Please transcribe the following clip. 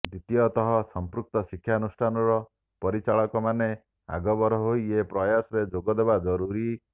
ଦ୍ୱିତୀୟତଃ ସଂପୃକ୍ତ ଶିକ୍ଷାନୁଷ୍ଠାନର ପରିଚାଳକମାନେ ଆଗଭର ହୋଇ ଏ ପ୍ରୟାସରେ ଯୋଗଦେବା ଜରୁରୀ